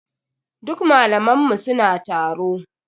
Duk malaman mu suna taro.